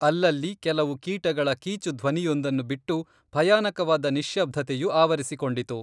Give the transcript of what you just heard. ಅಲ್ಲಲ್ಲೀ ಕೆಲವು ಕೀಟಗಳ ಕೀಚು ಧ್ವನಿಯೊಂದನ್ನು ಬಿಟ್ಟು ಭಯಾನಕವಾದ ನಿಶ್ಶಬ್ದತೆಯು ಆವರಿಸಿಕೊಂಡಿತು